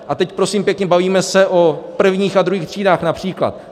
A teď prosím pěkně bavíme se o prvních a druhých třídách například.